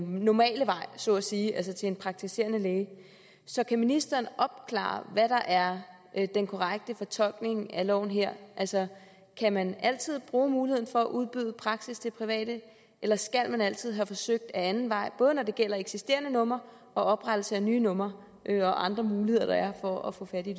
normale vej så at sige altså til en praktiserende læge så kan ministeren opklare hvad der er den korrekte fortolkning af loven her altså kan man altid bruge muligheden for at udbyde praksis til private eller skal man altid have forsøgt ad anden vej både når det gælder eksisterende numre oprettelse af nye numre og andre muligheder der er for at få fat i